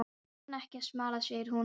Þeir kunna ekki að smala, segir hún.